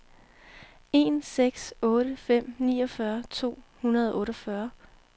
en seks otte fem niogfyrre to hundrede og otteogfyrre